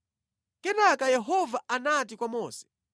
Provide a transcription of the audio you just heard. Kenaka Yehova anati kwa Mose,